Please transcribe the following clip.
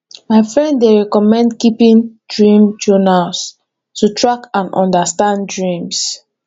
my friend dey recommend keeping dream journal to track and understand dreams